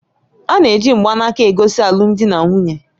A na-eji mgbanaka egosi alụmdi na nwunye.